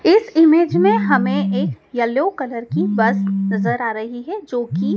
इस इमेज में हमें एक येलो कलर की बस नजर आ रही है जोकि--